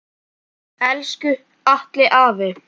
Elsku Atli afi.